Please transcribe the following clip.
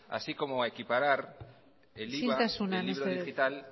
isiltasuna mesedez así como a equiparar el iva del libro digital